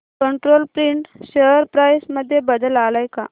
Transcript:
control print share price मध्ये बदल आलाय का